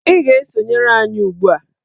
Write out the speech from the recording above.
Ị ga-esonyere anyị ugbu a!